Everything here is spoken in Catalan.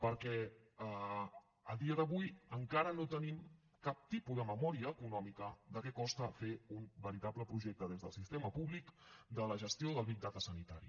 perquè a dia d’avui encara no tenim cap tipus de memòria econòmica de què costa fer un veritable projecte des del sistema públic de la gestió del big data sanitari